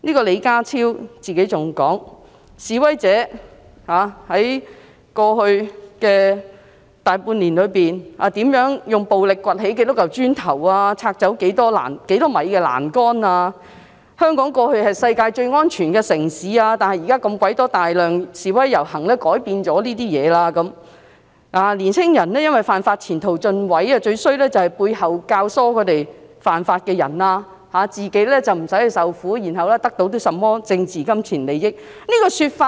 李家超更說，示威者在過去大半年，如何用暴力掘起多少塊磚頭、拆走多少米欄杆，香港過去是世界最安全的城市，但現時被大量示威遊行改變了；年輕人因為犯法，前途盡毀，最可惡的就是背後教唆他們犯法的人，自己不用去受苦，然後得到甚麼政治金錢利益。